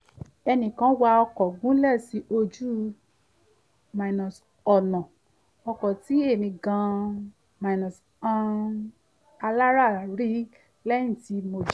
ẹnìkan wa ọkọ̀ gúnlẹ̀ sí ojú-ọ̀nà ọkọ̀ tí èmì gan-an alára rí lẹ́yìn tí mo jí